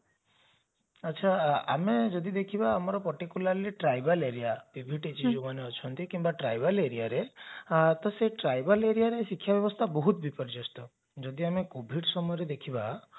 ଆଚ୍ଛା ଆମେ ଯଦି ଦେଖିବା ଆମର particularly tribal area ଯେଉଁମାନେ ଅଛନ୍ତି କିମ୍ବା tribal areaରେ ତ ସେ tribal areaରେ ଶିକ୍ଷା ବ୍ଯବସ୍ଥା ବହୁତ ବିପରଜସ୍ତ ଯଦି ଆମେ covid ସମୟରେ ଦେଖିବା